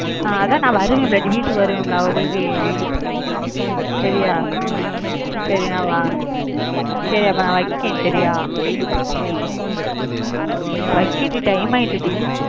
அஹ் அதான் நான் வருவேன்ல டி வீட்டுக்கு வருவேன்ல உங்களுக்கு சரியா சரி நான் வா~ சரி அப்ப நான் வைக்கறேன் சரியா வைக்கண்டி time ஆயிட்டுடி